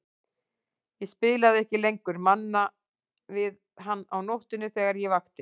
Ég spilaði ekki lengur Manna við hann á nóttunni þegar ég vakti.